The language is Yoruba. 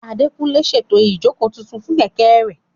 Adékúnlé ń ṣètò ìjókòó tuntun fún Kẹ̀kẹ́ rẹ̀